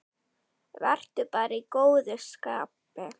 Vertu bara í góðu skapi.